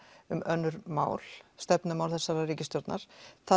um önnur mál stefnumál þessarar ríkisstjórnar